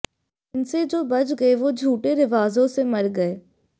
इनसे जो बच गए वो झूठे रिवाजों से मर गए